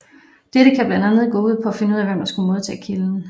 Dette kan blandt andet gå ud på at finde ud af hvem der skulle modtage kilden